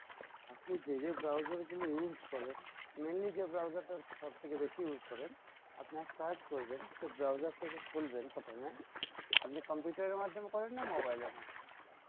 আপনি যে যে browser গুলো use করেন mainly যে browser টা সবথেকে বেশি use করেন আপনি এক কাজ করবেন সে browser টাকে খুলবেন প্রথমে আপনি computer এর মাধ্যমে করেন না mobile এর মাধ্যমে?